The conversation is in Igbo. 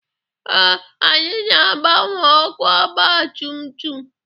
Ee, anyị na-agbanwe ọkụ ọgabtumtum